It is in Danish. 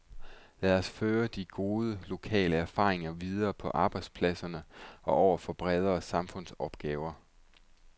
Lad os føre de gode lokale erfaringer videre på arbejdspladserne og over for bredere samfundsopgaver.